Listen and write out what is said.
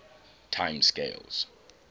time scales